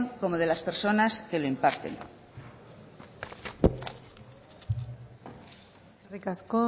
como de las personas que lo imparten eskerrik asko